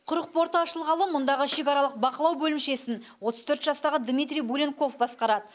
құрық порты ашылғалы мұндағы шекаралық бақылау бөлімшесін отыз төрт жастағы дмитрий буленков басқарады